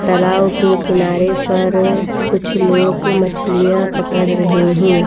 तलाव के किनारे पर कुछ लोग मछलियाँ पकड़ रहे हैं।